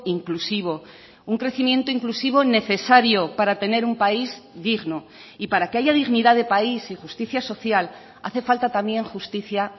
inclusivo un crecimiento inclusivo necesario para tener un país digno y para que haya dignidad de país y justicia social hace falta también justicia